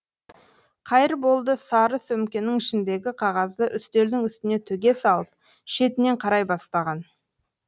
қайырболды сары сөмкенің ішіндегі қағазды үстелдің үстіне төге салып шетінен қарай бастаған